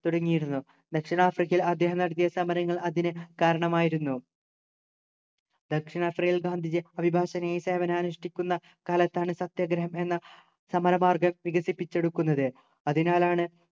തുടങ്ങിയിരുന്നു ദക്ഷിണാഫ്രിക്കയിൽ അദ്ദേഹം നടത്തിയ സമരങ്ങൾ അതിനു കാരണമായിരുന്നു ദക്ഷിണാഫ്രിക്കയിൽ ഗാന്ധിജിയെ അഭിഭാഷകനായി സേവനമനുഷ്ഠിക്കുന്ന കാലത്താണ് സത്യാഗ്രഹം എന്ന സമരമാർഗം വികസിപ്പിച്ചെടുക്കുന്നത് അതിനാലാണ്